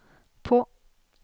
på